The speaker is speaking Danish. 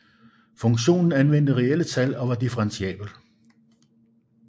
Funktionen anvendte reelle tal og var differentiabel